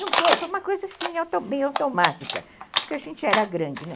Não foi, foi uma coisa assim, bem automática, porque a gente já era grande, né?